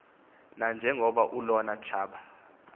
nanjengokuba olona tshaba